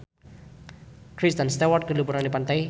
Kristen Stewart keur liburan di pantai